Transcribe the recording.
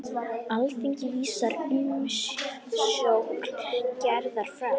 Alþingi vísar umsókn Gerðar frá.